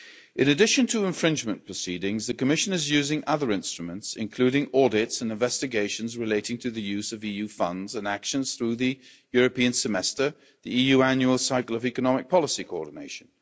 In addition to infringement proceedings, the Commission is using other instruments, including audits and investigations relating to the use of EU funds and actions through the European Semester, the EU annual cycle of economic policy coordination.